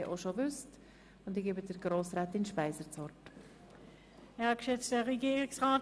Nur, damit Sie das Abstimmungsprozedere schon kennen.